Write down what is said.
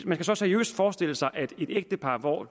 man så seriøst forestille sig at et ægtepar hvor